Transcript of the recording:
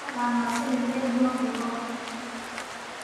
Ma taqaan sida geed loo fuulo?